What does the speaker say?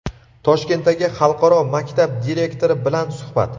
Toshkentdagi xalqaro maktab direktori bilan suhbat.